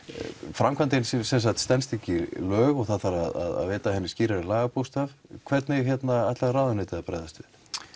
framkvæmdin stenst ekki lög og það þarf að veita henni skýrari lagabókstaf hvernig ætlar ráðuneytið að bregðast við